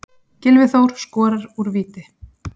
Gylfi Þór skorar úr víti.